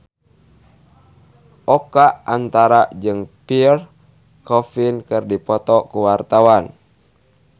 Oka Antara jeung Pierre Coffin keur dipoto ku wartawan